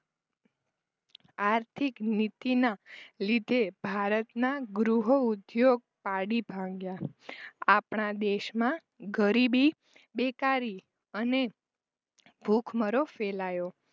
આર્થિકનીતિના લીધે ભારતના ગૃહઉદ્યોગ પાડી ભાંગ્યા આપણા દેશમાં ગરીબી બેકારી અને ભૂખમરો ફેલાયો